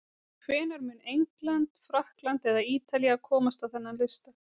Hvenær mun England, Frakkland eða Ítalía komast á þennan lista?